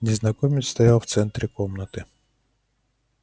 незнакомец стоял в центре комнаты